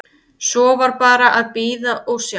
Svo var bara að bíða og sjá.